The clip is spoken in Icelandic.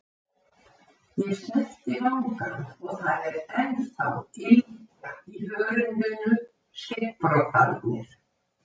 Ég snerti vangann og það er ennþá ylgja í hörundinu, skeggbroddarnir.